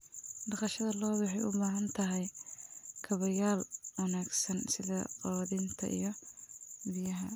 Dhaqashada lo'du waxay u baahan tahay kaabayaal wanaagsan sida quudinta iyo biyaha.